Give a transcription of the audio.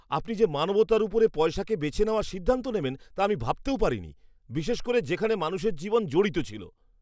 আপনি যে মানবতার উপরে পয়সাকে বেছে নেওয়ার সিদ্ধান্ত নেবেন তা আমি ভাবতেও পারিনি, বিশেষ করে যেখানে মানুষের জীবন জড়িত ছিল।